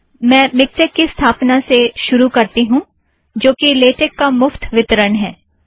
मैं मिक्टेक की स्थापना से शुरु करती हूँ जो कि लेटेक का मुफ्त वितरण है